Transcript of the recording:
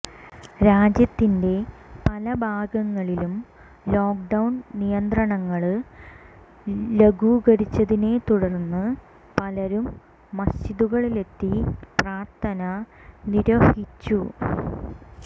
രാജ്യത്തിന്റെ പല ഭാഗങ്ങളിലും ലോക്ക്ഡൌണ് നിയന്ത്രണങ്ങള് ലഘൂകരിച്ചതിനെ തുടര്ന്ന് പലരും മസ്ജിദുകളിലെത്തി പ്രാർഥന നിര്വഹിച്ചു